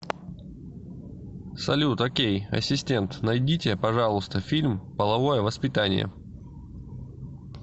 салют окей асистент найдите пожалуйста фильм половое воспитание